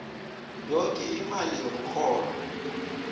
yoke imali yomrholo